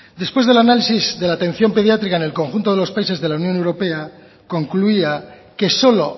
después del análisis de la atención pediátrica en el conjunto de los países de la unión europea concluía que solo